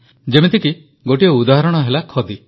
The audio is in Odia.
ଯେମିତିକି ଗୋଟିଏ ଉଦାହରଣ ହେଲା ଖଦି